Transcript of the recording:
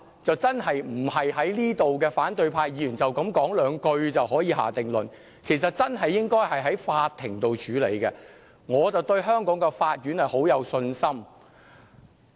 這真的不是反對派議員在此表達一兩句話就可以下定論的，其實真的應該由法庭處理，而我對香港的法院很有信心。